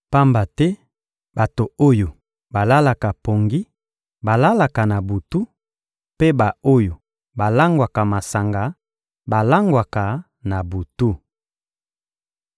Pamba te bato oyo balalaka pongi balalaka na butu, mpe ba-oyo balangwaka masanga balangwaka na butu.